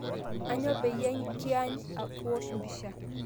Anyo payie kiany kuwosh mpisha